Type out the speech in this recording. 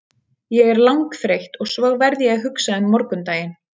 Ég er langþreytt og svo verð ég að hugsa um morgundaginn.